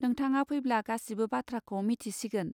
नोथाङा फैब्ला गासिबो बाथ्राखौ मिथिसिगोन.